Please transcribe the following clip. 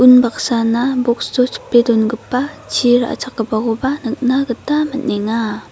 unbaksana box-o chipe dongipa chi ra·chakgipakoba nikna gita man·enga.